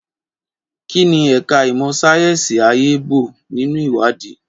Kí ni ẹ̀ka ìmọ̀ sáyẹ́sì ayé ń bo nínú ìwádìí?